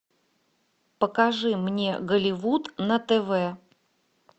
покажи мне голливуд на тв